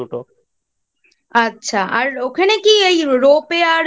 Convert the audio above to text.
আচ্ছা আর ওখানে কি এই Ropeway আর